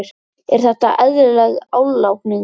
Er þetta eðlileg álagning?